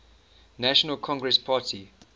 national congress party